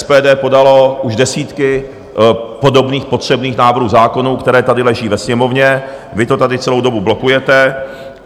SPD podalo už desítky podobných potřebných návrhů zákonů, které tady leží ve Sněmovně, vy to tady celou dobu blokujete.